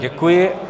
Děkuji.